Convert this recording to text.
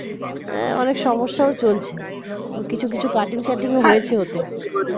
অনেক সমস্যা ও চলছে কিছু কিছু cutting সাটিং ও হয়েছে ওতে